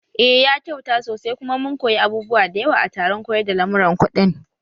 Eh ya kyauta sosai kuma mun koyi abubuwa da yawa a taron koyar da lamuran kuɗin